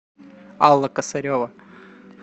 алла косарева